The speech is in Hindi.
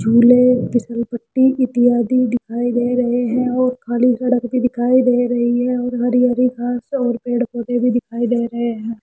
झूले फिसल पट्टी इत्यादि दिखाई दे रहे हैं और खाली सड़क भी दिखाई दे रही है और हरी हरी घास और पेड़ पौधे भी दिखाई दे रहे हैं।